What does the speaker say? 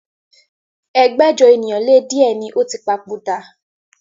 ẹgbẹ́jọ ènìyàn lé di ẹ ní ó ti papòdà